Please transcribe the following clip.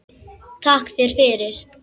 Takka þér fyrir